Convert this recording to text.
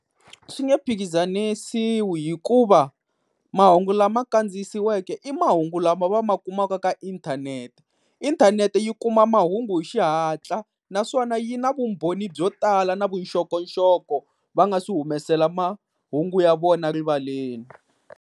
Swi nge phikizanisiwi hikuva mahungu lama kandziyisiweke i mahungu lama va ma kumaka ka inthanete. Inthanete yi kuma mahungu hi xihatla, naswona yi na vumbhoni byo tala na vuxokoxoko va nga se humesela mahungu ya vona rivaleni.